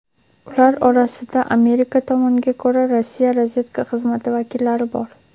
ular orasida Amerika tomoniga ko‘ra "Rossiya razvedka xizmati vakillari" bor.